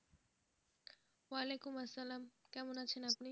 ওয়ালায়কুম আসলাম কেমন আছেন আপনি?